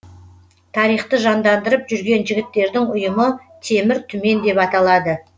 тарихты жандандырып жүрген жігіттердің ұйымы темір түмен деп аталады